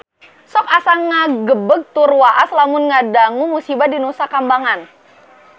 Sok asa ngagebeg tur waas lamun ngadangu musibah di Nusa Kambangan